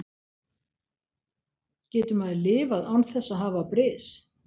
Getur maður lifað án þess að hafa bris?